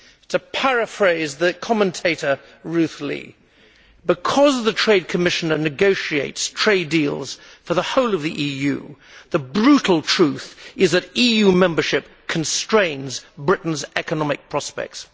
To paraphrase the commentator, Ruth Lea because the Trade Commissioner negotiates trade deals for the whole of the EU, the brutal truth is that EU membership constrains Britain's economic prospects.